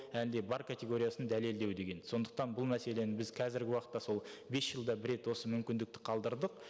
әлде бар категориясын дәлелдеу деген сондықтан бұл мәселені біз қазіргі уақытта сол бес жылда бір рет осы мүмкіндікті қалдырдық